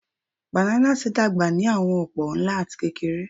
Bananas dagba ni awọn opo, nla ati kekere.